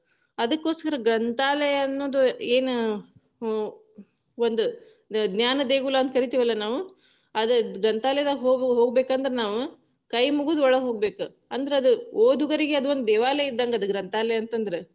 ಅದಕ್ಕೊಸ್ಕರ ಗ್ರಂಥಾಲಯ ಅನ್ನೋದು ಏನ, ಒಂದ ಜ್ಞಾನ ದೇಗುಲಾ ಅಂತ ಕರೀತೇವಿ ಅಲ್ಲಾ ನಾವು, ಅದ ಗ್ರಂಥಾಲಯದಾಗ ಹೋಗಬೇಕಂದ್ರ ನಾವ ಕೈ ಮುಗದ ಒಳಗ ಹೋಗ್ಬೇಕ, ಅಂದ್ರ ಅದು ಓದುಗರಿಗೆ ಒಂದು ದೇವಾಲಯ ಇದ್ದಂಗ ಗ್ರಂಥಾಲಯ ಅಂತಂದ್ರ.